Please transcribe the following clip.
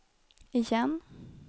igen